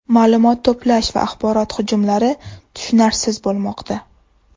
Ma’lumot to‘plash va axborot hujumlari tushunarsiz bo‘lmoqda.